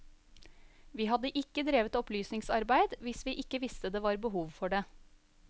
Vi hadde ikke drevet opplysningsarbeid hvis vi ikke visste det var behov for det.